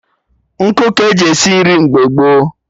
Nkụ ka-eji esi nri mgbe gboo